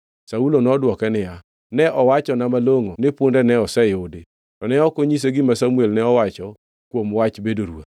Saulo nodwoke niya, “Ne owachonwa malongʼo ni punde ne oseyudo.” To ne ok onyise gima Samuel ne owacho kuom wach bedo ruoth.